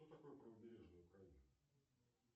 что такое правобережная украина